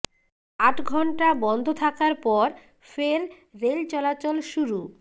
আট ঘণ্টা বন্ধ থাকার পর ফের রেল চলাচল শুরু